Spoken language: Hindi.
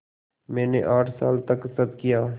मैंने आठ साल तक सब किया